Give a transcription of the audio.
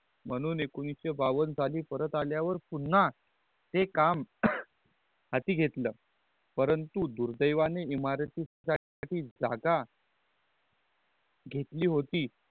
मनहुंन एकोनिस शे बावन साली आल्या नंतर पुनन्हा ते काम हाती घेतला परंतु दुर्दयनी इमारती साठी जागा घेतली होती